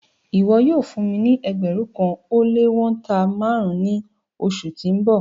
Ìwọ̀ yóò fún mí ní ẹgbérùn kan o le wọ̀nta màrùn ni oṣù tí n bọ